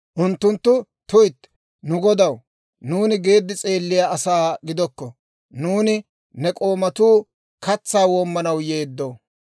Unttunttu, «tuytti, nu godaw, nuuni geeddi s'eelliyaa asaa gidokko; nuuni ne k'oomatuu katsaa woomanaw yeeddo.